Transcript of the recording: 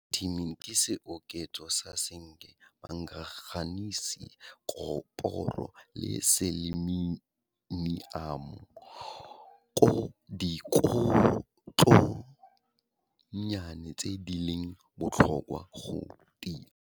Multimin ke seoketso sa Senke, Manganese, Koporo le Seleniamo dikotlonnyane tse di leng botlhokwa go tia.